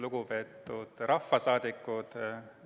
Lugupeetud rahvasaadikud!